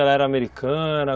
Ela era americana?